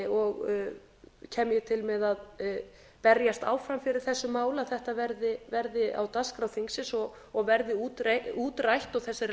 og kem ég til með að berjast áfram fyrir þessu máli að þetta verði á dagskrá þingsins og verði útrætt og þessari